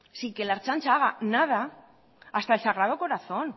sin que la ertzaintza haga nada hasta el sagrado corazón